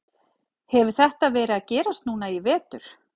Hefur þetta verið að gerast núna í vetur?